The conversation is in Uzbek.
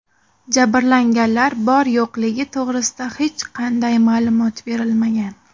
Jabrlanganlar bor-yo‘qligi to‘g‘risida hech qanday ma’lumot berilmagan.